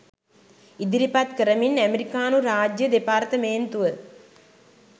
ඉදිරිපත් කරමින් ඇමෙරිකානු රාජ්‍ය දෙපාර්තමේන්තුව